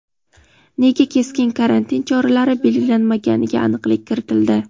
Nega keskin karantin choralari belgilanmaganiga aniqlik kiritildi.